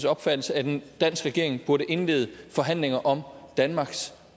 opfattelse at en dansk regering burde indlede forhandlinger om danmarks